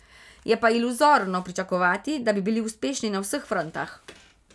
Je pa iluzorno pričakovati, da bi bili uspešni na vseh frontah.